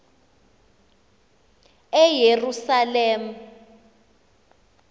eyerusalem